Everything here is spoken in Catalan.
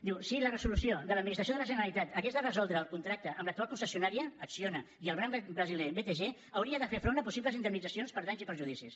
diu si la resolució de l’administració de la generalitat hagués de resoldre el contracte amb l’actual concessionària acciona i el banc brasiler btg hauria de fer front a possibles indemnitzacions per danys i perjudicis